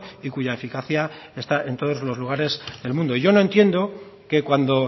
y cuya eficacia está en todos los lugares del mundo yo no entiendo que cuando